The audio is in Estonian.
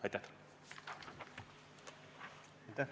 Aitäh!